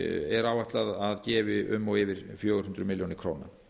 er áætlað að gefi um og yfir fjögur hundruð milljóna króna